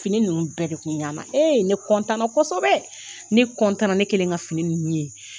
Fini ninnu bɛɛ de kun ɲɛna e ne kosɛbɛ ne ne kɛlen ka fini ninnu ye